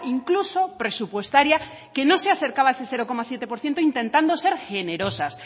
incluso presupuestaria que no se acercaba a ese cero coma siete por ciento intentando ser generosas